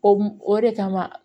O mun o de kama